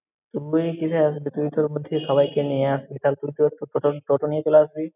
তুই কিসে আসবি? তুই তো বলছিস সবাইকে নিয়ে আসবি তাহলে, তুই তো প্রথম প্রথমেই চলে আসবি।